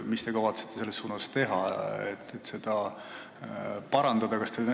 Mida te kavatsete teha, et seda parandada?